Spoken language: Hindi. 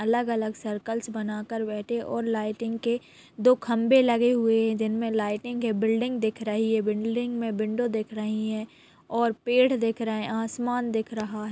अलग -अलग सर्कल्स बना कर बैठें और लाइटिंग के दो खंभे लगे हुए दिन में लाइटिंग के बिल्डिंग दिख रही है बिल्डिंग में विंडो दिख रही है और पेड़ दिख रहे आसमान दिख रहा--